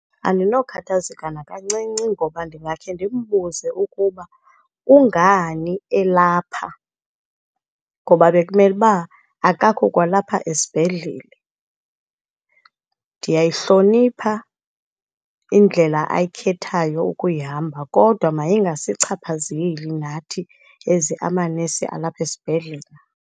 Andinokathazeka nakancinci ngoba ndingakhe ndimbuze ukuba kungani elapha ngoba bekumele uba akakho kwalapha esibhedlele. Ndiyayihlonipha indlela ayikhethayo ukuyihamba kodwa mayingasichaphazeli nathi as amanesi alapha esibhedlele.